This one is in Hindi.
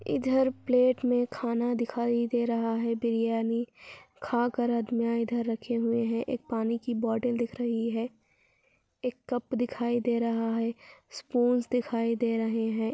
इधर प्लेट मैं खाना दिखाई दे रहा है | बिरयानी खा कर इधर रखे हुए हे एक पानी की बॉटल दिक् रही हे एक कप दिखाई दे रही हे स्पूंस दिखाई दे रहा है |